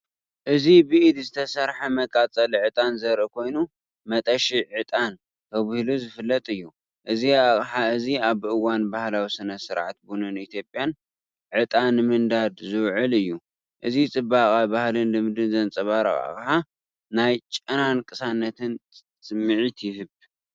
እዚ ብኢድ ዝተሰርሐ መቃጸሊ ዕጣን ዘርኢ ኮይኑ፡ "መጠሺ ዕጣን" ተባሂሉ ዝፍለጥ እዩ። እዚ ኣቕሓ እዚ ኣብ እዋን ባህላዊ ስነ-ስርዓት ቡን ኢትዮጵያ ዕጣን ንምንዳድ ዝውዕል እዩ። እዚ ጽባቐ ባህልን ልምድን ዘንጸባርቕ ኣቕሓ፡ ናይ ጨናን ቅሳነትን ስምዒት ይህብ!